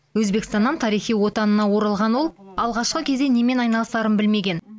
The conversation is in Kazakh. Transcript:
өзбекстаннан тарихи отанына оралған ол алғашқы кезде немен айналысарын білмеген